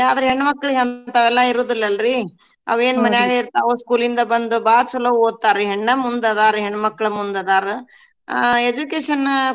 ಆದ್ರ ಹೆಣ್ಮಕ್ಳಿಗ್ ಹಂತವೆಲ್ಲಾ ಇರುದಿಲ್ಲ ಅಲ್ರಿ ಅವೇನ್ ಮನ್ಯಾಗ ಇರ್ತಾವು school ಇಂದ ಬಂದು ಬಾಳ್ ಚಲೋ ಓದ್ತಾರೀ ಹೆಣ್ಣ ಮುಂದದಾರ್ ಹೆಣ್ಮಕ್ಳ್ ಮುಂದ್ ಅದಾರ್ ಅ education .